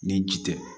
Ni ji tɛ